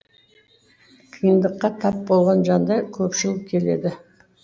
қиындыққа тап болған жандар көпшіл келеді